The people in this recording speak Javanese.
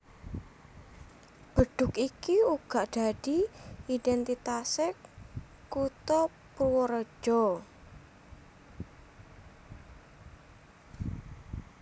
Bedhug iki uga dadi idhéntitasé kutha Purwareja